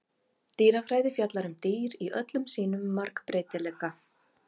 Dýrafræði fjallar um dýr í öllum sínum margbreytileika.